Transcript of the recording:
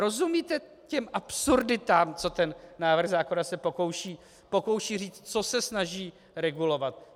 Rozumíte těm absurditám, co ten návrh zákona se pokouší říct, co se snaží regulovat?